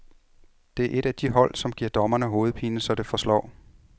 Det er et af de hold, der giver dommerne hovedpine, så det forslår.